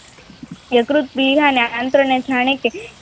યકૃત વિહાના આંત્રને જાણે કે